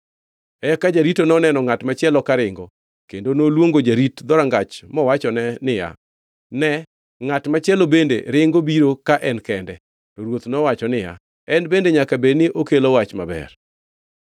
Eka jarito noneno ngʼat machielo karingo, kendo noluongo jarit dhorangach mowachone niya, “Ne ngʼat machielo bende ringo biro ka en kende!” To ruoth nowacho niya, “En bende nyaka bed ni okelo wach maber.”